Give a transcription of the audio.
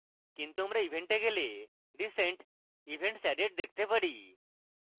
কিন্তু আমরা event we গেলে recent events added দেখতে পারি